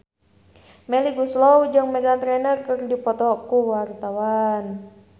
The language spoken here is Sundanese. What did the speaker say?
Melly Goeslaw jeung Meghan Trainor keur dipoto ku wartawan